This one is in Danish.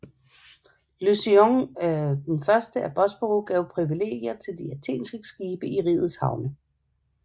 Leucon 1 af Bosporus gav privilegier til de athenske skibe i rigets havne